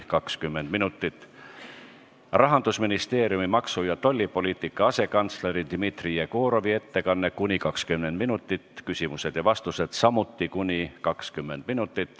Järgneb Rahandusministeeriumi maksu- ja tollipoliitika asekantsleri Dmitri Jegorovi ettekanne , siis on küsimused ja vastused .